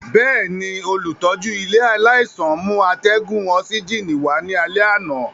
Bẹẹni, olutọju ile alaisan mu atẹgun osigini wa ni alẹ ana.